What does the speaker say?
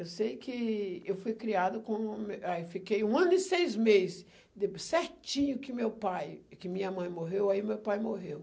Eu sei que eu fui criado como... Ah e fiquei um ano e seis mês, depois certinho que meu pai, que minha mãe morreu, aí meu pai morreu.